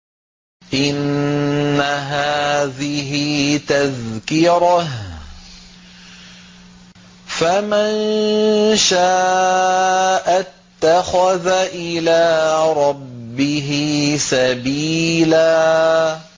إِنَّ هَٰذِهِ تَذْكِرَةٌ ۖ فَمَن شَاءَ اتَّخَذَ إِلَىٰ رَبِّهِ سَبِيلًا